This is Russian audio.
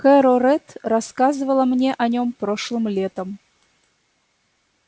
кэро рэтт рассказывала мне о нем прошлым летом